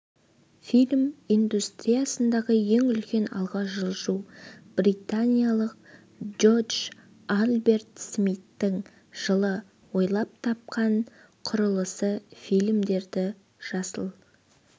фильм индустриясындағы ең үлкен алға жылжу британиялық джордж альберт смиттің жылы ойлап тапқан құрылғысы фильмдерді жасыл